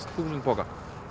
þúsund pokum